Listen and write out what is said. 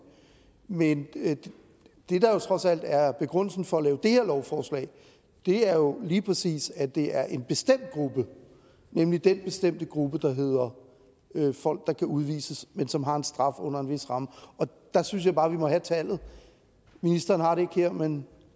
men det der trods alt er begrundelsen for at lave det her lovforslag er jo lige præcis at det er en bestemt gruppe nemlig den bestemte gruppe der hedder folk der kan udvises men som har en straf under en vis ramme og der synes jeg bare at vi må have tallet ministeren har det her men